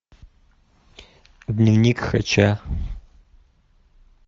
дневник хача